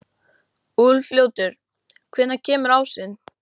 Úlfljótur, hvenær kemur ásinn?